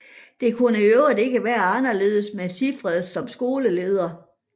Det kunne i øvrigt ikke være anderledes med Sigfred som skoleleder